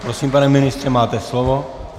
Prosím, pane ministře, máte slovo.